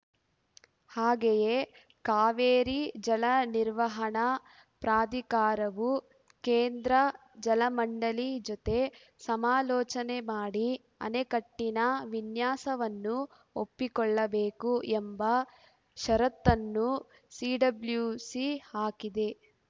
ಹಾಗೆಯೇ ಕಾವೇರಿ ಜಲ ನಿರ್ವಹಣಾ ಪ್ರಾಧಿಕಾರವು ಕೇಂದ್ರ ಜಲ ಮಂಡಳಿ ಜೊತೆ ಸಮಾಲೋಚನೆ ಮಾಡಿ ಅಣೆಕಟ್ಟಿನ ವಿನ್ಯಾಸವನ್ನು ಒಪ್ಪಿಕೊಳ್ಳಬೇಕು ಎಂಬ ಷರತ್ತನ್ನು ಸಿಡಬ್ಲ್ಯುಸಿ ಹಾಕಿದೆ